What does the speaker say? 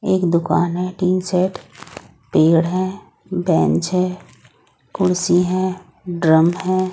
एक दुकान है टीन सेट पेड़ है और बेन्च है कुर्सी है ड्रम है।